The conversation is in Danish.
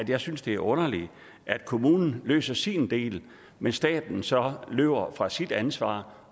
jeg synes det er underligt at kommunen løser sin del mens staten så løber fra sit ansvar